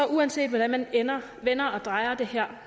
uanset hvordan man vender og drejer det her